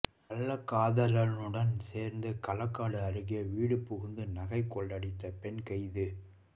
கள்ளக்காதலனுடன் சேர்ந்து களக்காடு அருகே வீடு புகுந்து நகை கொள்ளையடித்த பெண் கைது